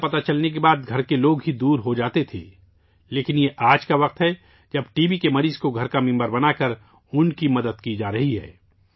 T B کا پتہ لگنے کے بعد گھر کے لوگ ہی دور ہوجاتے تھے لیکن آج کا دور ہے جب ٹی بی کے مریض کو خاندان کا فرد بنا کر ان کی مدد کی جا رہی ہے